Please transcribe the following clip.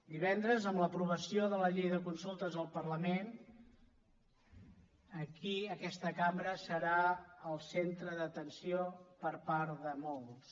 divendres amb l’aprovació de la llei de consultes del parlament aquí aquesta cambra serà el centre d’atenció per part de molts